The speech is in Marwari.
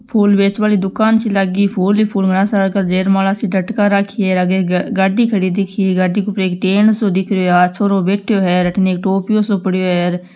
फूल वेचवा री दुकान सी लागी है फूल ही फूल घणा सारा का जेरमाला सा लटका राखी है आगे गाड़ी खड़ी दिखी है गाड़ी के ऊपर एक टेण सा दिख रियो है आ छोरो बेठ्यो है अठीन एक टोपियों सो पड़ियो हेर।